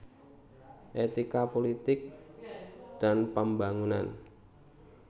Etika Pulitik dan Pembangunan